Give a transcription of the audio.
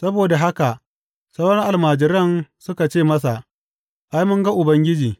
Saboda haka sauran almajiran suka ce masa, Ai, mun ga Ubangiji!